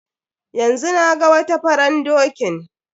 Yanzu naga wata faran dokin.